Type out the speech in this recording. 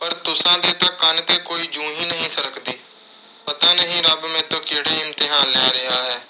ਪਰ ਤੁਸਾਂ ਦੇ ਤਾਂ ਕੰਨ 'ਤੇ ਕੋਈ ਜੂੰ ਹੀ ਨੀਂ ਸਰਕਦੀ। ਪਤਾ ਨਹੀਂ ਰੱਬ ਮੈਥੋਂ ਕਿਹੜੇ ਇਮਤਿਹਾਨ ਲੈ ਰਿਹਾ ਹੈ।